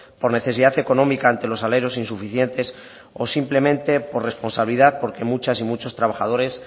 por necesidad económica ante los salarios insuficientes o simplemente por responsabilidad porque muchas y muchos trabajadores